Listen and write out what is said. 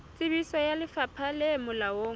tsebiso ya lefapha le molaong